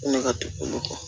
Ne ka du kɔnɔ